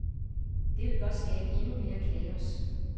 Det vil blot skabe endnu mere kaos.